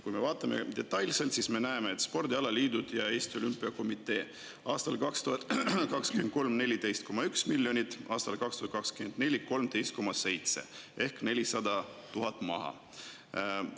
Kui me vaatame detailselt, siis me näeme, et spordialaliidud ja Eesti Olümpiakomitee said 2023. aastal 14,1 miljonit, aga 2024. aastal 13,7 miljonit ehk 400 000 eurot.